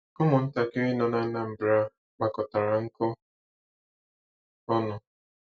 Ụmụntakịrị nọ n'Anambra kpakọtara nkụ ọnụ.